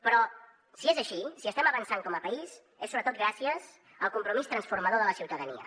però si és així si estem avançant com a país és sobretot gràcies al compromís transformador de la ciutadania